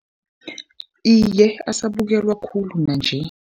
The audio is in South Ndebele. Iye, asabukelwa khulu nanje.